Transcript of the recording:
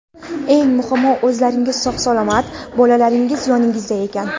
Eng muhimi, o‘zlaringiz sog‘-salomat, bolalaringiz yoningizda ekan.